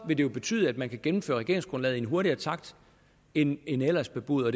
jo betyde at man kan gennemføre regeringsgrundlaget i en hurtigere takt end end ellers bebudet og